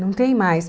Não tem mais.